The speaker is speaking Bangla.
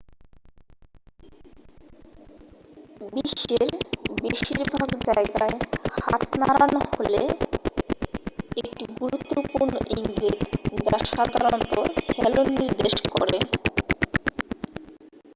"বিশ্বের বেশিরভাগ জায়গায় হাত নাড়ানো হলো একটি বন্ধুত্বপূর্ণ ইঙ্গিত যা সাধারণত "হ্যালো" নির্দেশ করে।